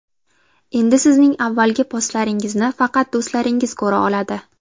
Endi sizning avvalgi postlaringizni faqat do‘stlaringiz ko‘ra oladi.